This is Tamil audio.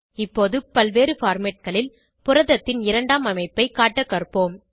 இப்போது பல்வேறு formatகளில் புரதத்தின் இரண்டாம் அமைப்பை காட்ட கற்போம்